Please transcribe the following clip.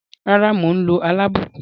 Rara, mo n lo alabukun.